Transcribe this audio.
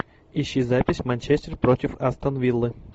ищи запись манчестер против астон виллы